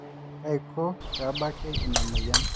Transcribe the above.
kaiko peebaki ina moyian